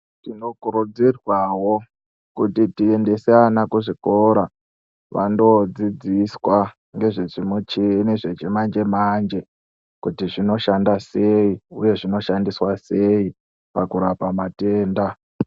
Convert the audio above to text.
Tinokurudzirwawo kuti tiendese ana kuzvikora vando dzidziswa ndezve zvimichini zvemanje manje kuti zvinoshanda sei uye zvinoshandiswa sei pakurapa matenda.